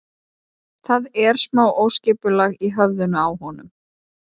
Það er smá óskipulag í höfðinu á honum.